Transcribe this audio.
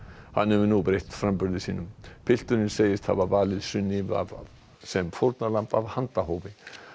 hann hefur nú breytt framburði sínum pilturinn segist hafa valið Sunnivu sem fórnarlamb af handahófi